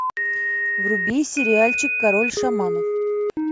вруби сериальчик король шаманов